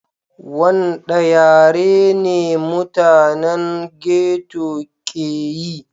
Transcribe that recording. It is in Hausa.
Wanɗa yare ne mutanen ghetto ƙe yi?